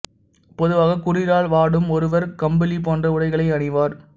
பொதுவாக குளிரால் வாடும் ஒருவர் கம்பளி போன்ற உடைகளை அணிவார்